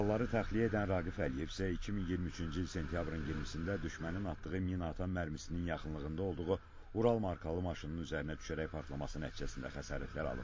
Yaralıları təxliyə edən Raqif Əliyev isə 2023-cü il sentyabrın 20-də düşmənin atdığı mina atan mərmisinin yaxınlığında olduğu Ural markalı maşının üzərinə düşərək partlaması nəticəsində xəsarətlər alıb.